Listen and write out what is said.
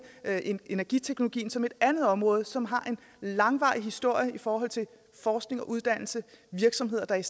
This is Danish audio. energiteknologien som et andet område som har en langvarig historie i forhold til forskning og uddannelse har virksomheder der i